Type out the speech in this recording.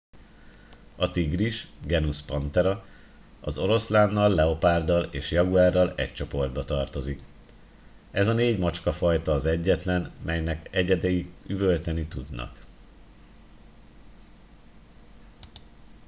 a tigris genus panthera az oroszlánnal leopárddal és jaguárral egy csoportba tartozik. ez a négy nagymacskafajta az egyetlen melynek egyedei üvölteni tudnak